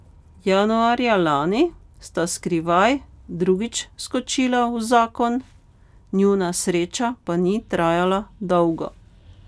Januarja lani sta skrivaj drugič skočila v zakon, njuna sreča pa ni trajala dolgo.